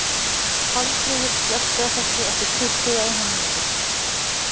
Pálmfríður, slökktu á þessu eftir tuttugu og eina mínútur.